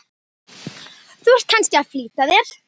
Þú ert kannski að flýta þér.